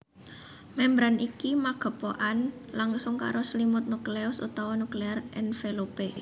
Membran iki magepokan langsung karo selimut nukleus utawa nuclear envelope